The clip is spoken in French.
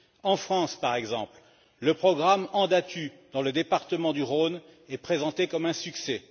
En France, par exemple, le programme Andatu, dans le département du Rhône, est présenté comme un succès.